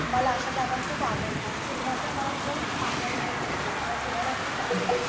मला अशा जागा खूप आवडतात. फिरण्याचा मला खूप आनंद मिळतो. मला फिरायला खूप आवडतं.